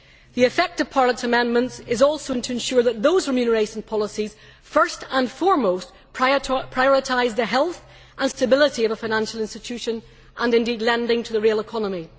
The effect of Parliament's amendments is also to ensure that those remuneration policies, first and foremost, prioritise the health and stability of a financial institution and indeed, lending to the real economy.